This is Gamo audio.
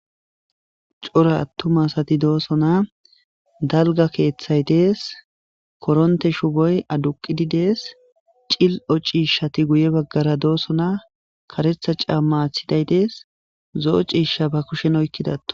C'ora atuma asati de'osona dalgga asay de'es koronththo shuboy aduqidi de'es c'ilo c'ishshati guye bagara de'osona kareththa c'ama aththiday de'es zo'o c'ishsha ba kushen oyikida.